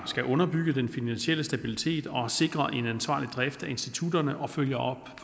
skal underbygge den finansielle stabilitet og sikre en ansvarlig drift af institutterne og følge op